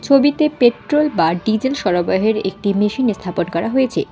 ছবিতে পেট্রোল বা ডিজেল সরাবহের একটি মেশিন ইস্থাপন করা হয়েছে।